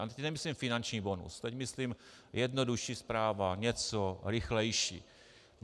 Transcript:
A teď nemyslím finanční bonus, teď myslím jednodušší správa, něco rychlejší.